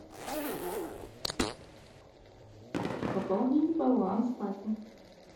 пополнить баланс папе